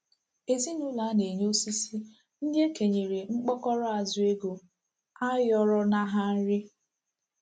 Ezinụlọ a na-enye osisi ndị e kenyere mkpokoro azụ ego ayọrọ na ha nri.